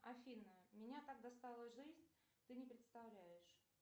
афина меня так достала жизнь ты не представляешь